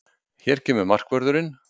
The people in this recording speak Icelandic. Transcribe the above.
Hér kemur markvörðurinn!